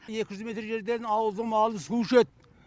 екі жүз метр жерден ауылдың малы су ішеді